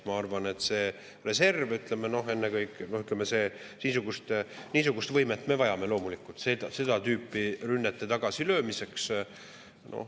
Ma arvan, et see reserv, ennekõike niisugust võimet me vajame seda tüüpi rünnete tagasilöömiseks.